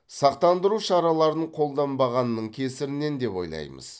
сақтандыру шараларын қолданбағанның кесірінен деп ойлаймыз